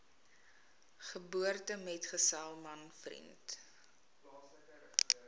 geboortemetgesel man vriend